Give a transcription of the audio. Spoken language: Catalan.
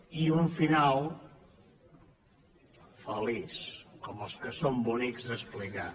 i un final feliç com els que són bonics d’explicar